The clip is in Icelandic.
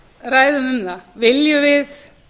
ræðum um það viljum við